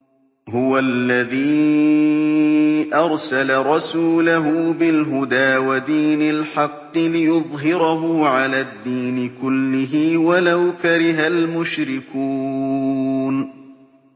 هُوَ الَّذِي أَرْسَلَ رَسُولَهُ بِالْهُدَىٰ وَدِينِ الْحَقِّ لِيُظْهِرَهُ عَلَى الدِّينِ كُلِّهِ وَلَوْ كَرِهَ الْمُشْرِكُونَ